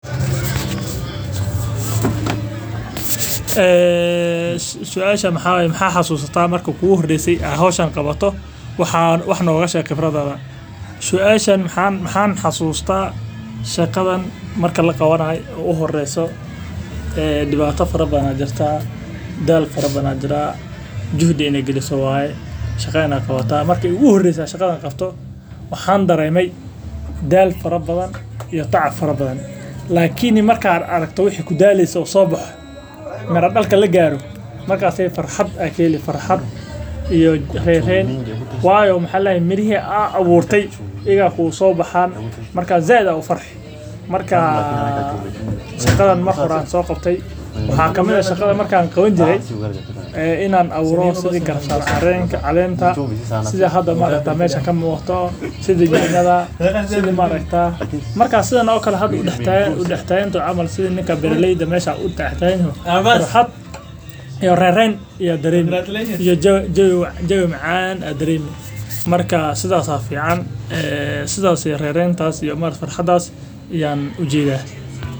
Suasha waxaa waye ma xasuusta marki iigu horeyse aan qabto howshan wax nooga sheeg khibradaada waxaa jira dibaata fara badan shaqa fara badan daal fara badan waxaa jiraa daal aan lasoo koobi karin miraha marki aay soo baxaan sait ayaa ufarxi inaan abuuro wax yaabo fara badan sida ninka meesha uu san udex taagan yahay jawi macaan ayaa dareemi farxadaas iyo rereentaas.